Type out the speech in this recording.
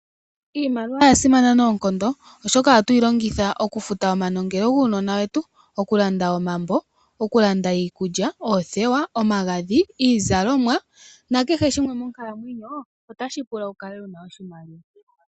Iimaliwa oya simana noonkondo oshoka ohatu yo longitha okufuta omanongelo guunona wetu, oku landa omambo, okulanda iikulya, oothewa, omagadhi, iizalomwa nakehe shimwe monkalamwenyo otashi pula wu kale wuna iimaliwa